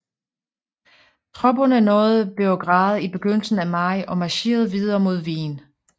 Tropperne nåede Beograd i begyndelsen af maj og marcherede videre mod Wien